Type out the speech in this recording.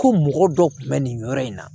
Ko mɔgɔ dɔ kun bɛ nin yɔrɔ in na